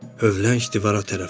Övlənç divara tərəf qaçdım.